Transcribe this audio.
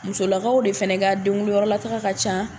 Musolakaw de fana ka denkunyɔrɔlataga ka ca